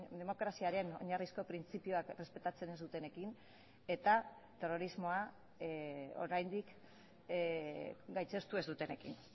demokraziaren oinarrizko printzipioak errespetatzen ez dutenekin eta terrorismoa oraindik gaitzestu ez dutenekin